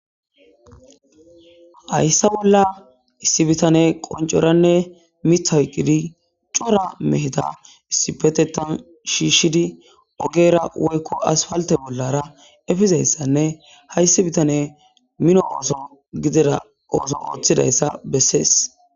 Hayssa bolla issi bitane qoncoranne mith hoyqqidi cora mehita issipetetan shiishshidi ogeera woykko as palte bollara efizayssanne hayssi bitane mino ooso gidida ooso ooththidayssa bessees.